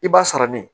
I b'a sɔrɔ ne